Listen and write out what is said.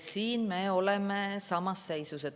Siin me oleme samas seisus.